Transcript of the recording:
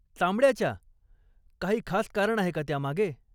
चामड्याच्या? काही खास कारण आहे का त्यामागे?